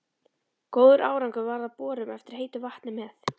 Góður árangur varð af borun eftir heitu vatni með